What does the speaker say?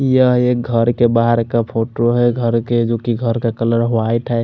यह एक घर के बहार का फोटो है घर के जो गहर का कलर वाइट है।